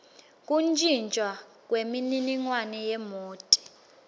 kuntjintjwa kwemininingwane yemoti